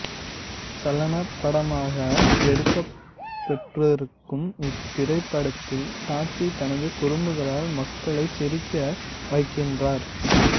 சலனப் படமாக எடுக்கப்பெற்றூக்கும் இத்திரைப்படத்தில் டாத்தி தனது குறும்புகளால் மக்களை சிரிக்க வைக்கின்றார்